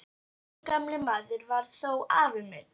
Þessi gamli maður var þó afi minn.